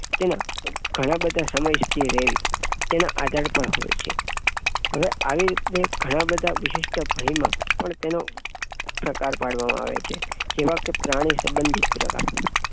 તેના ઘણા બધા સમય સુધી રેવી તેના આધાર પર હોય છે. હવે આવી રીતની ઘણા બધા વિશિષ્ટ ભય માં પણ તેનો પ્રકાર પાડવામાં આવે છે જેવા કે પ્રાણી સબંધી પ્રકાર